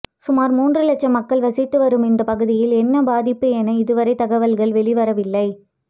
சுமார் மூன்று லட்சம் மக்கள் வசித்து வரும் இந்த பகுதியில் என்ன பாதிப்பு என இதுவரை தகவல்கள் வெளிவரவில்லை